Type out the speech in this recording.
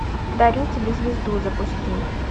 дарю тебе звезду запусти